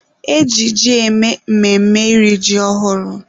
E ji ji eme mmemme iri ji ọhụrụ